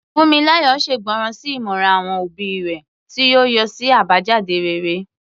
Funmilayo ṣègbọràn sí ìmọ̀ràn àwọn òbí rẹ̀, tí ó yọrí sí àbájáde rere.